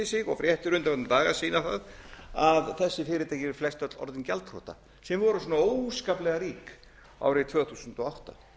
sig og fréttir undanfarna daga sýna það að þessi fyrirtæki eru flestöll orðin gjaldþrota sem voru svona óskaplega rík árið tvö þúsund og átta